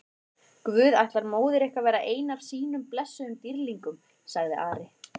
Guð ætlar móður ykkar að verða einn af sínum blessuðum dýrlingum, sagði Ari.